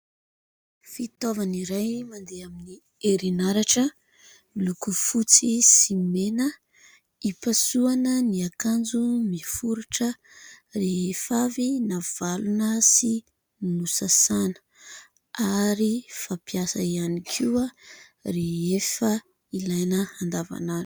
Fitaovana iray mandeha amin'ny herinaratra miloko fotsy sy mena, hipasohana ny akanjo miforitra rehefa avy navalona sy nosasana ary fampiasa ihany koa rehefa ilaina andavanandro.